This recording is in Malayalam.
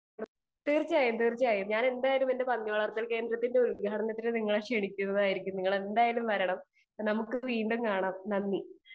സ്പീക്കർ 2 തീർച്ചയായും തീർച്ചയായും ഞാൻ എന്റെ പന്നി വളർത്തൽ കേന്ദ്രത്തിന്റെ ഉൽഘാടനത്തിനു നിങ്ങളെ ക്ഷണിക്കുന്നതായിരിക്കും നമുക്ക് വീണ്ടും കാണാം നന്ദി